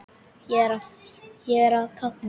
Ég er að kafna.